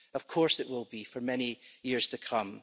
Of course it will be for many years to come.